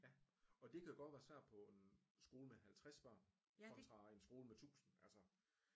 Ja og det kan godt være svært på en skole med 50 børn kontra en skole med tusind altså